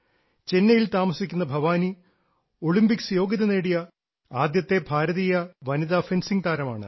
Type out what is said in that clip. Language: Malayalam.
ചെന്നൈയിൽ താമിസിക്കുന്ന ഭവാനി ഒളിമ്പിക്സ് യോഗ്യത നേടിയ ആദ്യത്തെ ഭാരതീയ വനിതാ ഫെൻസിംഗ് താരമാണ്